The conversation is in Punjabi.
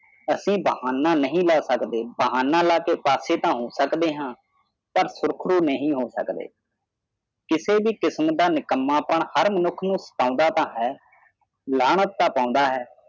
ਅਸੀਂ ਬਹਾਨਾ ਨਹੀਂ ਲੈ ਸਕਦੇ ਬਹਾਨਾ ਲਾਕੇ ਪਾਸੇ ਤਾ ਹੋ ਸਕਦੇ ਹੈ ਪਰ ਪੁਰਖੇ ਨਹੀਂ ਹੋ ਸਕਦੇ ਕਿਸੇ ਵੀ ਕਿਸਮ ਦਾ ਨਿਕੰਮਾ ਪਾਨ ਹਰ ਮਨੁੱਖ ਨੂੰ ਸਤਾਂਦਾ ਤਾ ਹੈ ਨਾਲਾਤ ਤਾ ਪੈਦਾ ਹੈ